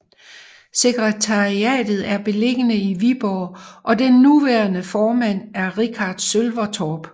Sekretariatet er beliggende i Viborg og den nuværende formand er Richardt Sølvertorp